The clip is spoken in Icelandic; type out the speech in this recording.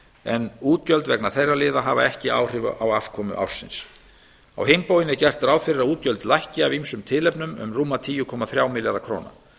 en útgjöld vegna þeirra liða hafa ekki áhrif á afkomu ársins á hinn bóginn er gert ráð fyrir að útgjöld lækki af ýmsum tilefnum um rúma tíu komma þrjá milljarða króna